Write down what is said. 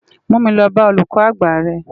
Mú mi lò bá ólúkò ágbá rè